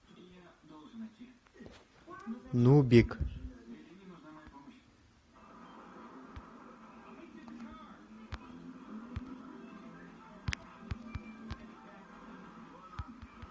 нубик